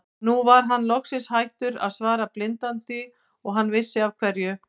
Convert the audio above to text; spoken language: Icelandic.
Nú var hann loksins hættur að svara blindandi og hann vissi af hverju.